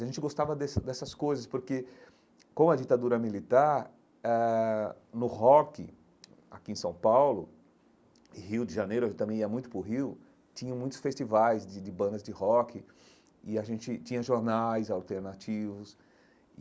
A gente gostava desse dessas coisas porque, com a ditadura militar eh, no rock aqui em São Paulo e Rio de Janeiro, eu também ia muito para o Rio, tinha muitos festivais de de bandas de rock e a gente tinha jornais alternativos.